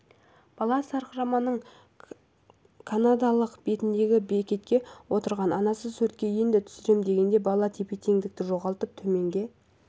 бала сарқыраманың канадалық бетіндегі бекетте отырған анасы суретке енді түсірем дегенде бала тепе теңдігін жоғалтып төменге